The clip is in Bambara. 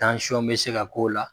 Tansɔn be se ka k'o la